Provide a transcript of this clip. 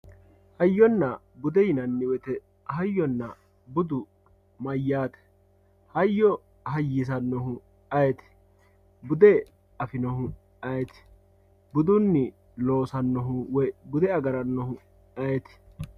hayyonnna bude hayyonna bude yinanni woyte hayyo hayyisanno ayeti bude afinohu ayeti budunni loosannohu woy bude agarannohu ayet